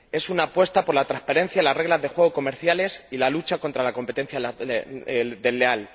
es una apuesta por la transparencia en las reglas de juego comerciales y en la lucha contra la competencia desleal.